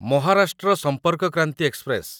Maharashtra Sampark Kranti express